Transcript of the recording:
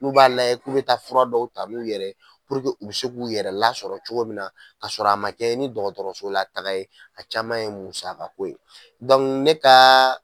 Olu b'a layɛ k'u be taa fura dɔw ta n'u yɛrɛ puruke u be se k'u yɛrɛ lasɔrɔ cogo mun na k'a sɔrɔ a ma kɛɲɛ ni dɔgɔtɔrɔso la taga ye a caman ye musako ye dɔnku ne ka